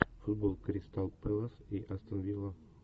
футбол кристал пэлас и астон вилла